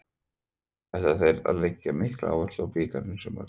Ætla þeir að leggja mikla áherslu á bikarinn í sumar?